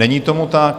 Není tomu tak.